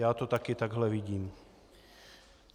Já to taky takhle vidím.